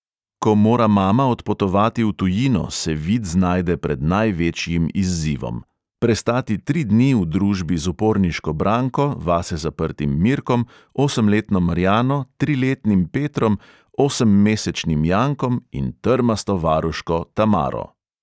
Ko mora mama odpotovati v tujino, se vid znajde pred največjim izzivom: prestati tri dni v družbi z uporniško branko, vase zaprtim mirkom, osemletno marjano, triletnim petrom, osemmesečnim jankom in trmasto varuško tamaro.